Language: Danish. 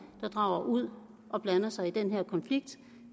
der drager ud og blander sig i den her konflikt